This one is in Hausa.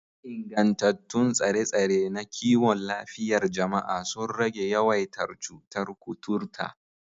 Ingantattun tsare-tsare na kiwon lafiyar jama'a sun rage yawaitar cutar kuturta